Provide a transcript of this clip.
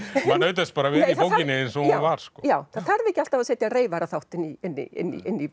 maður naut þess bara að vera í bókinni eins og hún var það þarf ekki alltaf að setja inn